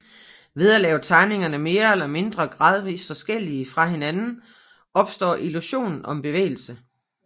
Ved at lave tegningerne mere eller mindre gradvist forskellige fra hinanden opstår illusionen om bevægelse